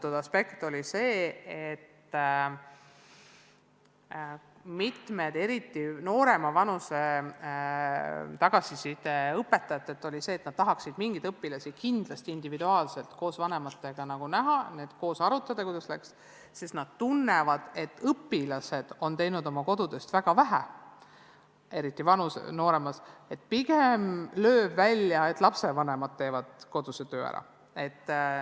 Üks aspekt, mida rõhutasid eriti noorema vanuserühma õpetajad, oli see, et nad tahaksid mõningaid õpilasi kindlasti individuaalselt koos vanematega näha, et koos arutada, kuidas läks, sest nad tunnevad, et õpilased on teinud oma kodutööst väga vähe, eriti nooremad, ja pigem paistab välja, et lapsevanemad ise teevad koduse töö ära.